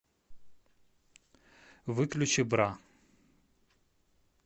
выключи бра